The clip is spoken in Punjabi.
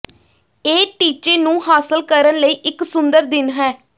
ਇਹ ਟੀਚੇ ਨੂੰ ਹਾਸਲ ਕਰਨ ਲਈ ਇੱਕ ਸੁੰਦਰ ਦਿਨ ਹੈ